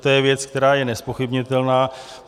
To je věc, která je nezpochybnitelná.